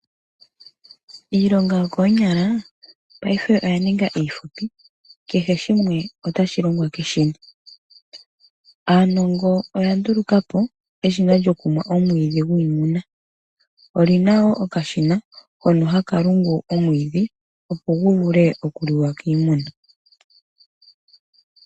Iilonga yokoonyala paife oya ninga iifupi kehe shimwe otashi longwa keshina. Aanongo oya nduluka po eshina lyokumwa omwiidhi gwiimuna, oli na wo okashina hono haka lungu omwiidhi opo gu vule okuliwa kiimuna.